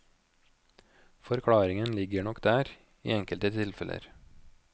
Forklaringen ligger nok der i enkelte tilfeller.